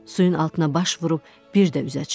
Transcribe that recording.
Suyun altına baş vurub bir də üzə çıxdım.